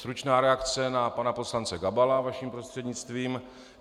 Stručná reakce na pana poslance Gabala, vaším prostřednictvím.